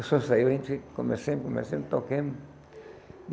O som saiu, a gente começando, começando, tocamos.